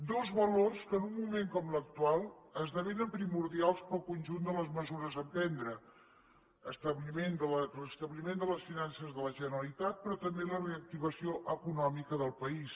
dos valors que en un moment com l’actual esdevenen primordials per al conjunt de les mesures a prendre restabliment de les finances de la generalitat però també la reactivació econòmica del país